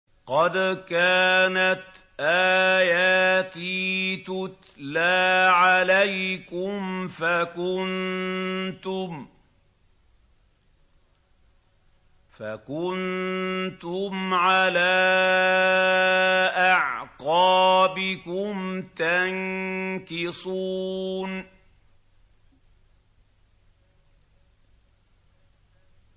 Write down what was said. قَدْ كَانَتْ آيَاتِي تُتْلَىٰ عَلَيْكُمْ فَكُنتُمْ عَلَىٰ أَعْقَابِكُمْ تَنكِصُونَ